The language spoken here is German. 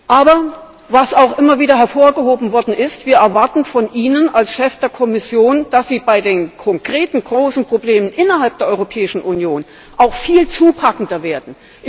Aber, was auch immer wieder hervorgehoben worden ist Wir erwarten von Ihnen als Chef der Kommission, dass sie bei den konkreten großen Problemen innerhalb der Europäischen Union auch viel zupackender werden.